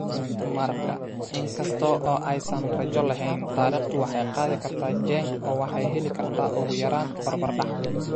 Marka, in kasta oo aysan rajo lahayn, taariikhdu waxay qaadi kartaa Genk oo waxay heli kartaa ugu yaraan barbardhac.